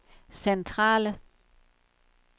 centrale